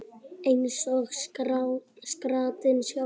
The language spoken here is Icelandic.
Eins og skrattinn sjálfur